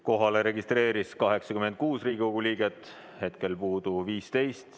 Kohalolijaks registreerus 86 Riigikogu liiget, hetkel on puudu 15.